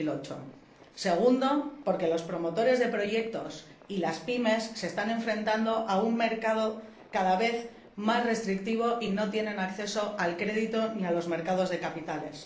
2008. En segundo lugar, porque los promotores de proyectos y las PYME se están enfrentando a un mercado cada vez más restrictivo y no tienen acceso al crédito ni a los mercados de capitales.